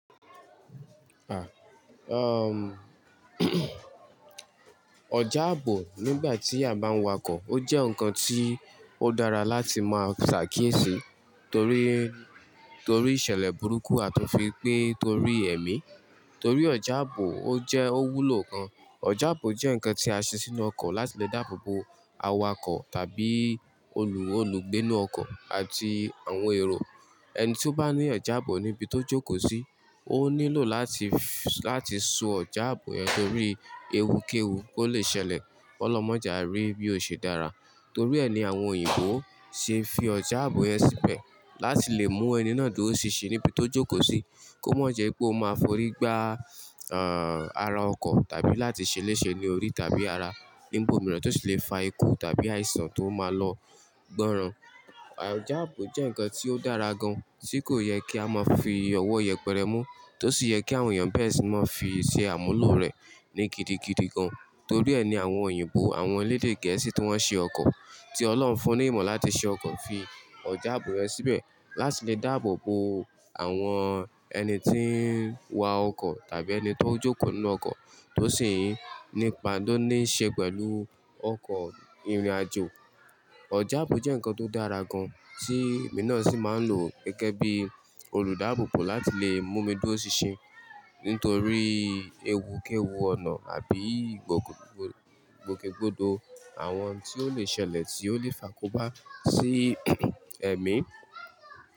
Ah, erm, ọjà ààbò nígbà tí a bá ń wakọ̀, ó jẹ́ nǹkan tí ó dára láti máa ṣàkíyèsí torí, torí ìṣẹ̀lẹ̀ burúkú a tó fi pín torí ẹ̀mí. Torí ọjà ààbò ó jẹ́ owú lò kan. Ọjà ààbò jẹ́ ǹkan tí a ṣe sínú ọkọ̀ láti lè dáàbò bo awakọ̀ tàbí olù, olùgbé inú ọkọ̀ àti àwọn èrò. Ẹni tí ó bá ní ọjà ààbò níbi tó jókòó sí, ó nílò láti, láti so ọjà ààbò yẹn torí ewu kéwu kò le ṣẹlẹ̀. Ọlọ́run mọjà rí bí ó ṣe dára. Torí ẹ ni àwọn òyìnbó ṣe fi ọjà ààbò yẹn síbẹ̀, láti lè mú ẹni náà tó o ṣìṣe níbi tó jókòó sí kó mọ̀ jẹ́ pé ó máa forí gbá, ah, ara ọkọ̀ tàbí láti ṣe léṣe ní orí tàbí ara nígbà mìíràn tó sì le fa ikú tàbí àìsàn tó máa lọ gbọ̀ran. Ọjà ààbò jẹ́ ǹkan tí ó dára gan-an, tí kò yẹ kí a máa fi ọwọ́ yẹpẹrẹ mú, tó sì yẹ kí àwọn èèyàn bẹ́ẹ̀ sì máa fi ṣe àmúlò rẹ̀ ní gidigidi gan-an. Torí ẹni àwọn òyìnbó, àwọn orílédé Gẹ̀ẹ́sì tí wọ́n ń ṣe ọkọ̀, tí Ọlọ́run fún ní ìmọ̀ láti ṣe ọkọ̀ fi ọjà ààbò rẹ̀ síbẹ̀, láti lè dáàbò bo àwọn ẹni tí ń wa ọkọ̀ tàbí ẹni tó ń jókòó nínú ọkọ̀ tó sì ń nípa tó ní í ṣe pẹ̀lú ọkọ̀ ìrìnàjò. Ọjà ààbò jẹ́ ǹkan tó dára gan-an tí èmi náà sì máa ń lò gẹ́gẹ́ bí olùdáàbò bo láti lè mú mi dúró ṣiṣẹ́ nítorí ewu kéwu ọ̀nà àbí ìgbòkègbodò àwọn tí ó le ṣẹlẹ̀ tí ó lè fako bá sí ẹ̀mí.